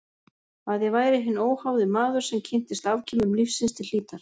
Að ég væri hinn óháði maður sem kynntist afkimum lífsins til hlítar.